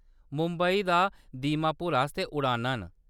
मुंबई दा दीमापुर आस्तै उड़ानां न।